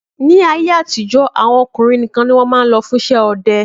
Ni ayé àtijọ́ àwọn ọkùnrin nìkan ni wọn máa ń lò fún iṣẹ́ ọdẹ